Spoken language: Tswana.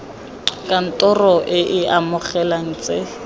kantoro e e amegang tse